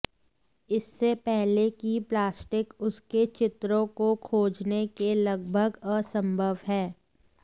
इससे पहले कि प्लास्टिक उसके चित्रों को खोजने के लगभग असंभव है